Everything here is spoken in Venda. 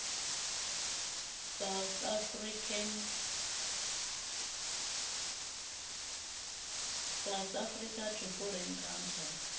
south africa to foreign countries